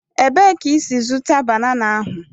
Ebee ka ị si zụta banana ahụ?